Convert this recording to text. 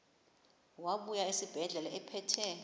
wabuya esibedlela ephethe